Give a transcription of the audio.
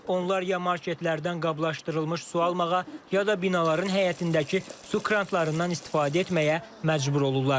Onlar ya marketlərdən qablaşdırılmış su almağa, ya da binaların həyətindəki su kranlarından istifadə etməyə məcbur olurlar.